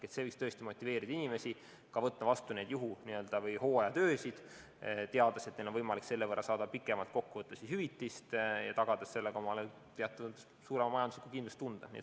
See võiks motiveerida inimesi võtma vastu ka juhu- või hooajatöid, teades, et neil on võimalik selle võrra saada kokkuvõttes pikemat hüvitist ja tagada sellega omale teatud suurem majanduslik kindlustunne.